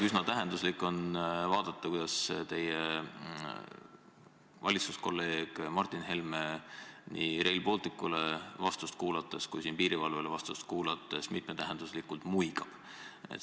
Üsna tähenduslik on vaadata, kuidas teie valitsuskolleeg Martin Helme nii Rail Balticut kui ka piirivalvet puudutavale küsimusele antud vastust kuulates mitmetähenduslikult muigas.